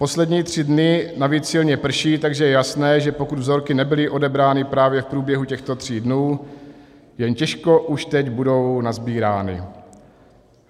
Poslední tři dny navíc silně prší, takže je jasné, že pokud vzorky nebyly odebrány právě v průběhu těchto tří dnů, jen těžko už teď budou nasbírány.